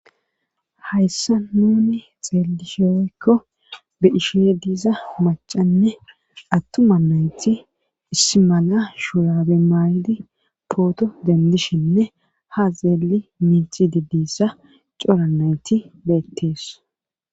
hayssa nuni xeelishoykko be ishe diiza macanne attuma nayti is mala shuraabe maayidi pooto dendishenne ha xeeli miixi dedissa cora nayti beettees